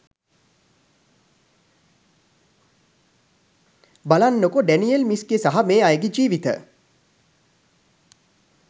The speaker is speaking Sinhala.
බලන්නකො ඩැනියෙල් මිස්ගෙ සහ මේ අයගෙ ජීවත